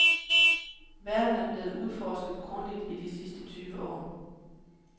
Verden er blevet udforsket grundigt i de sidste tyve år.